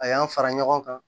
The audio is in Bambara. A y'an fara ɲɔgɔn kan